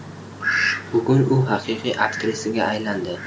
Bugun u haqiqiy aktrisaga aylandi.